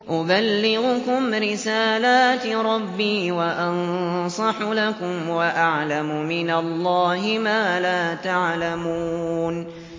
أُبَلِّغُكُمْ رِسَالَاتِ رَبِّي وَأَنصَحُ لَكُمْ وَأَعْلَمُ مِنَ اللَّهِ مَا لَا تَعْلَمُونَ